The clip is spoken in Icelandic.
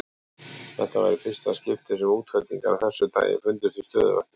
Þetta var í fyrsta skipti sem útfellingar af þessu tagi fundust í stöðuvatni.